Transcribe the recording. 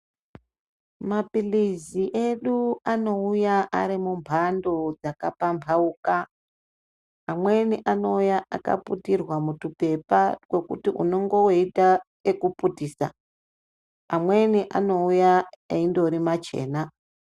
Maphilizi edu anouya Ari mumbando dzakapambauka amweni anouya akaputirwa mutwuphepa twekuti unonga weiita okuputisa amweni anouya endori machena.